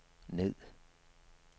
ned